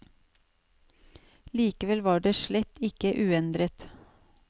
Likevel var det slett ikke uendret.